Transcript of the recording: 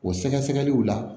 O sɛgɛsɛgɛliw la